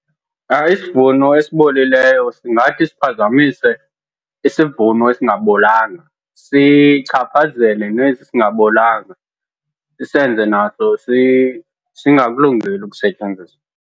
Isivuno esibolileyo singathi siphazamise isivuno esingabolanga. Sichaphazele nesi singabolanga, sisenze naso singakulungeli ukusetyenziswa.